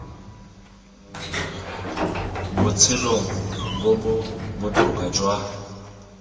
botshelong bo bo botoka jwa